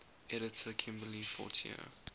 editor kimberly fortier